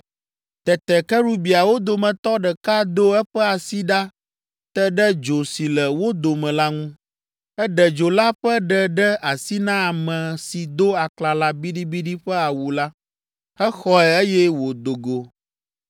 Tete kerubiawo dometɔ ɖeka do eƒe asi ɖa te ɖe dzo si le wo dome la ŋu. Eɖe dzo la ƒe ɖe ɖe asi na ame si do aklala biɖibiɖi ƒe awu la. Exɔe eye wodo go.